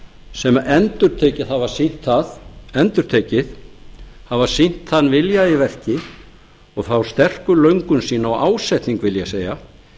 sem endurtekið hafa sýnt það endurtekið hafa sýnt þann vilja í verki og þá sterku löngun sína og ásetning vil ég segja